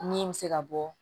Min bɛ se ka bɔ